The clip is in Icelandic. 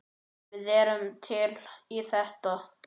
Við erum til í þetta.